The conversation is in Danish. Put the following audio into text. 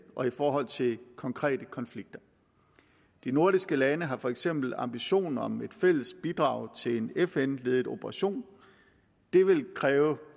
og i forhold til konkrete konflikter de nordiske lande har for eksempel ambitioner om et fælles bidrag til en fn ledet operation det vil kræve